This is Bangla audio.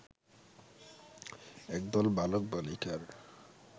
একদল বালক-বালিকার